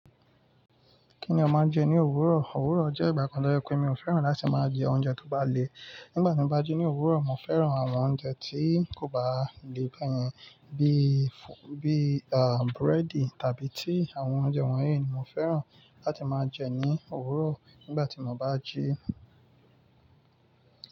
Kí ni o máa ń jẹ ní òwúrọ̀? Òwúrọ̀ jẹ́ ìgbà kan lọ́yẹ pé mi ò fẹ́ràn láti máa jẹ oúnjẹ tó bá le. Nígbà tí mo bá jí ní òwúrọ̀, mo fẹ́ràn àwọn oúnjẹ tí kò bá le bẹ́yẹn bí, bí àà búrẹ́dì tàbí tí àwọn oúnjẹ wọnyìí ni mo fẹ́ràn láti máa jẹ ní òwúrọ̀ nígbà tí mo bá jí.